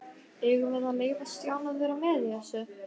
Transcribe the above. Eigum við að leyfa Stjána að vera með í þessu?